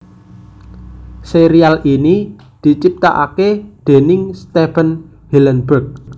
Sérial ini diciptakaké déning Stephen Hillenburg